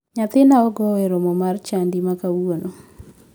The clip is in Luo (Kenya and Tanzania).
Nyathina ogo e romo mar chadi ma kawuono.